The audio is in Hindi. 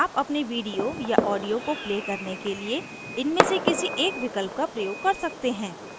आप अपने video या audio को play करने के लिए इनमें से किसी एक विकल्प का प्रयोग कर सकते हैं